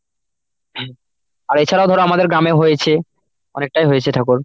আর এছাড়াও ধরো আমাদের গ্রামে হয়েছে, অনেকটাই হয়েছে ঠাকুর।